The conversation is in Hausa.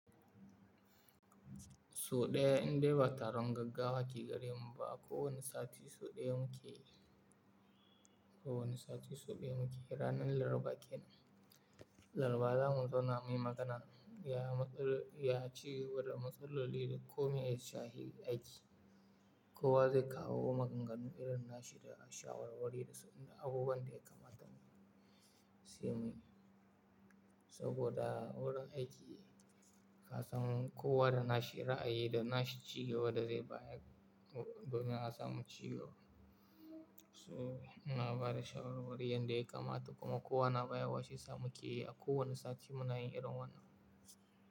Sau ɗaya in dai ba taron gaggawo ke gare mu ba, a ko wane sati sau ɗaya muke, ko wane sati sau ɗaya muke ranar Laraba kenan. Laraba zamu zauna muyi magana, ya cigaba da matsaloli da komi a shashin aiki. Kowa zai kawo maganganu irin na shi da shawarwari da abubuwan da ya kamata mu sai muyi. Saboda wurin aiki ka san kowa da na shi ra'ayi da na shi ci gaba da zai bayar domin a samu cigaba. So ina bada shawarwari yanda ya kamata kuma kowa na bayar wa shiyasa muke yi a kowane sati muna yin irin wannan.